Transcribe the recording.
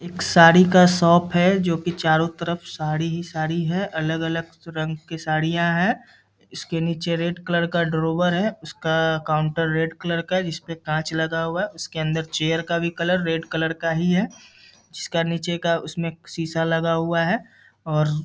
एक साड़ी का शॉप है जोकि चारों तरफ साड़ी ही साड़ी है अलग अलग रंग की साड़ियाँ हैं इसके नीचे रेड कलर ड्रावर है उसका काउंटर रेड कलर का है जिसपे काँच लगा हुआ है उसके अंडर चेयर का भी कलर रेड कलर का ही है जिसका नीचे का उसमें शीशा लगा हुआ है और--